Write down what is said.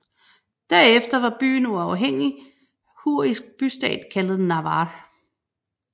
Derefter var byen uafhængig hurrisk bystat kaldet Nawar